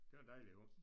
Det var en dejlig hund